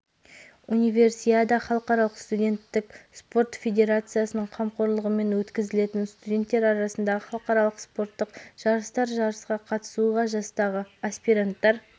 универсиада халықаралық студенттік спорт федерациясының қамқорлығымен өткізілетін студенттер арасындағы халықаралық спорттық жарыстар жарысқа қатысуға жастағы аспиранттар